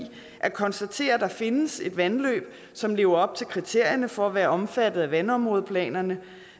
at konstatere at der findes et vandløb som lever op til kriterierne for at være omfattet af vandområdeplanerne